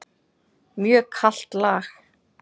Mjög kalt lag.